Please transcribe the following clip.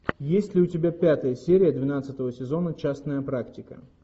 есть ли у тебя пятая серия двенадцатого сезона частная практика